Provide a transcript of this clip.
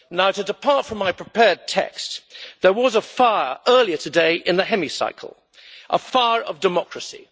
To depart for my prepared text there was a fire earlier today in the Hemicycle a fire of democracy.